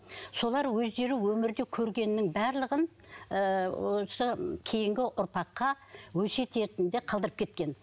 солар өздері өмірде көргенінің барлығын ыыы осы кейінгі ұрпаққа өсиет ретінде қалдырып кеткен